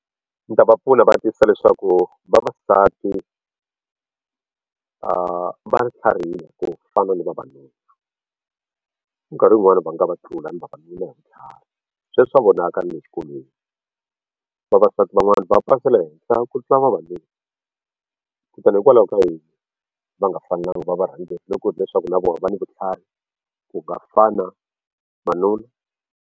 Ni ta va pfuna ni va tivisa leswaku vavasati va tlhariha ku fana ni vavanuna nkarhi wun'wani va nga va thlula ni vavanuna hi vutlhari swa vonaka na le xikolweni vavasati van'wani va pasela henhla ku tlula vavanuna kutani hikwalaho ka yini va nga fanelanga va va varhangeri loko hileswaku na vona va ni vutlhari ku .